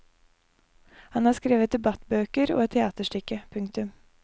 Han har skrevet debattbøker og et teaterstykke. punktum